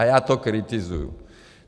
A já to kritizuju.